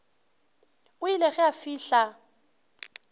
o ile ge a fihla